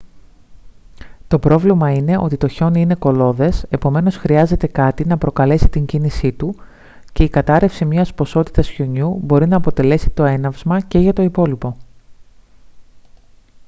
το πρόβλημα είναι ότι το χιόνι είναι κολλώδες επομένως χρειάζεται κάτι να προκαλέσει την κίνησή του και η κατάρρευση μιας ποσότητας χιονιού μπορεί να αποτελέσει το έναυσμα και για το υπόλοιπο